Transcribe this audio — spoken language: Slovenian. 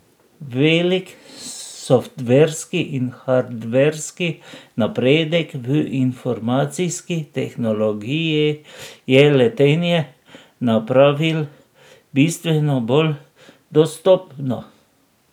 Velik softverski in hardverski napredek v informacijski tehnologiji je letenje napravil bistveno bolj dostopno.